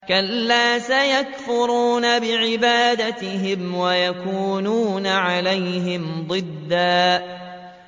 كَلَّا ۚ سَيَكْفُرُونَ بِعِبَادَتِهِمْ وَيَكُونُونَ عَلَيْهِمْ ضِدًّا